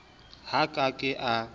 ha a ka ke a